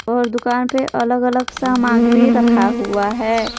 और दुकान पे अलग अलग सामग्री रखा हुआ है।